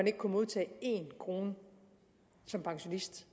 ikke kunne modtage én krone som pensionist